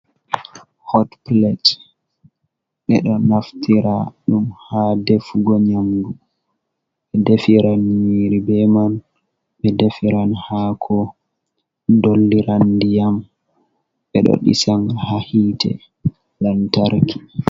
Hotplet, ɓe ɗo naftira ɗum ha defugo nyamdu. Ɓe defiran nyiri be man, ɓe defiran haako, dolliran ndiyam, ɓe ɗo ɗisa on haa hite, lantarki.